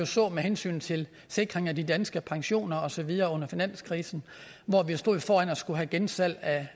så med hensyn til sikring af de danske pensioner og så videre under finanskrisen hvor vi stod foran at skulle have gensalg